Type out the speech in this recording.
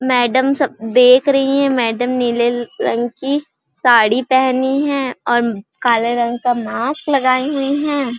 Madam सब देख रही है मैडम नीले रंग की साड़ी पहनी है और काले रंग का मास्क लगाए हुए हैं ।